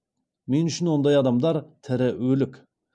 мен үшін ондай адамдар тірі өлік